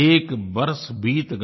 एक बरस बीत गया